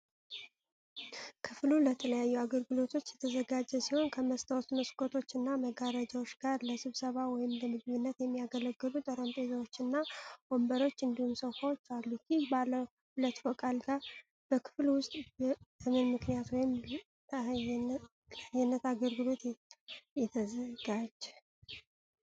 ክፍሉ ለተለያዩ አገልግሎቶች የተዘጋጀ ሲሆን፣ ከመስታወት መስኮቶች እና መጋረጃዎች ጋር ለስብሰባ ወይም ለምግብነት የሚያገለግሉ ጠረጴዛዎች እና ወንበሮች እንዲሁም ሶፋዎች አሉት። ይህ ባለ ሁለት ፎቅ አልጋ በክፍሉ ውስጥ በምን ምክንያት ወይም ለአየነት አገልግሎት ተዘጋጀ?